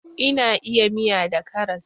Ina iya miya da karas